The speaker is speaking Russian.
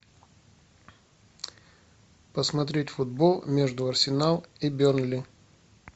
посмотреть футбол между арсенал и бернли